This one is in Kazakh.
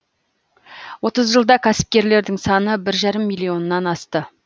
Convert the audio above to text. отыз жылда кәсіпкерлердің саны бір жарым миллионнан асты